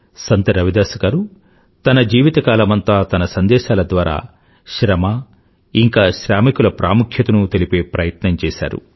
సంత్ రవిదాస్ గారు తన జీవితకాలమంతా తన సందేశాల ద్వారా శ్రమ ఇంకా శ్రామికుల ప్రాముఖ్యతను తెలిపే ప్రయత్నం చేశారు